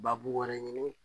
Babu wɛrɛ ɲini